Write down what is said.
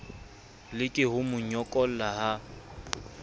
leke ho mo nyokola ha